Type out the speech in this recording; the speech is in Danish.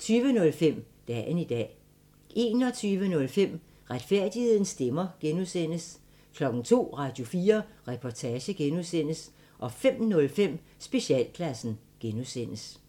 20:05: Dagen i dag 21:05: Retfærdighedens stemmer (G) 02:00: Radio4 Reportage (G) 05:05: Specialklassen (G)